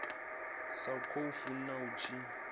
sa khou funa a tshi